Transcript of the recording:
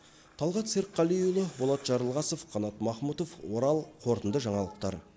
талғат серікқалиұлы болат жарылғасов қанат махмұтов орал қорытынды жаңалықтар